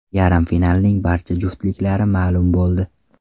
Yarim finalning barcha juftliklari ma’lum bo‘ldi.